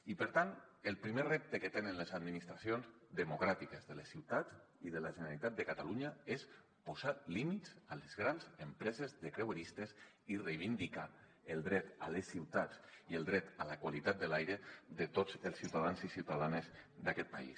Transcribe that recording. i per tant el primer repte que tenen les administracions democràtiques de la ciutat i de la generalitat de catalunya és posar límits a les grans empreses de creueristes i reivindicar el dret a les ciutats i el dret a la qualitat de l’aire de tots els ciutadans i ciutadanes d’aquest país